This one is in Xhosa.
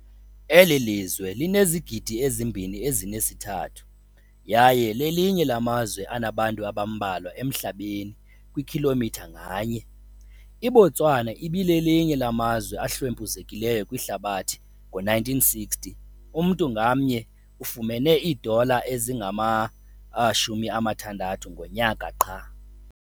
Le lizwe linezigidi ezi-2.3, yaye lelinye lamazwe anabantu abambalwa emhlabeni kwikhilomitha nganye. IBotswana belelinye lamazwe ahlwempuzekileyo kwihlabathi- ngo-1960 umntu ngamnye ufumene iidola ezingama-60 ngonyaka qha.